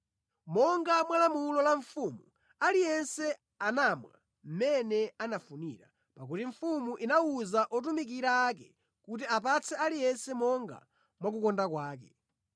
Monga mwa lamulo la mfumu aliyense anamwa mʼmene anafunira, pakuti mfumu inawuza otumikira ake kuti apatse aliyense monga mwa kukonda kwake.